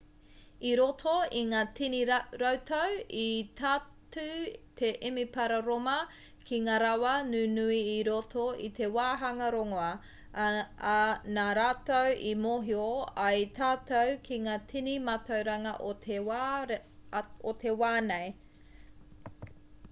i roto i ngā tini rautau i tatū te emepara rōma ki ngā rawa nunui i roto i te wāhanga rongoā ā nā rātou i mōhio ai tātou ki ngā tini mātauranga o te wā nei